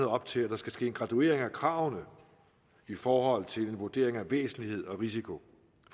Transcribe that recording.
op til at der skal ske en graduering af kravene i forhold til en vurdering af væsentlighed og risiko